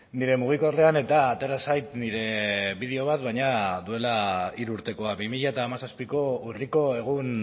nire mugikorrean eta atera zait nire bideo bat baina duela hiru urtekoa bi mila hamazazpiko urriko egun